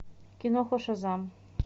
киноху шазам